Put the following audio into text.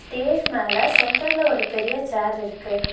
Dash மேல சென்டர்ல ஒரு பெரிய சேர் இருக்கு.